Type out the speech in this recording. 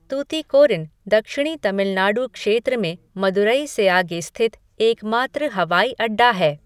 तूतीकोरिन दक्षिणी तमिलनाडु क्षेत्र में मदुरई से आगे स्थित एकमात्र हवाई अड़डा है।